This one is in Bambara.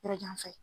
Yɔrɔ jan fɛ